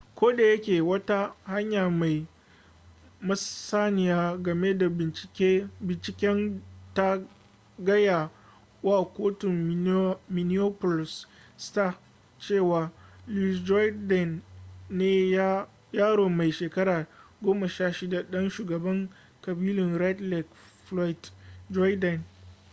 ko da yake wata hanya mai masaniya game da binciken ta gaya wa kotun minneapolis star cewa louis jourdain ne yaro mai shekara 16 ɗan shugaban ƙabilun red lake floyd jourdain